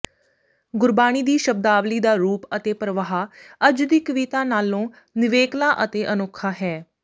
ਗੁਰਬਾਣੀ ਦੀ ਸ਼ਬਦਾਵਲੀ ਦਾ ਰੂਪ ਅਤੇ ਪਰਵਾਹ ਅੱਜ ਦੀ ਕਵਿਤਾ ਨਾਲੋਂ ਨਿਵੇਕਲਾ ਅਤੇ ਅਨੋਖਾ ਹੈ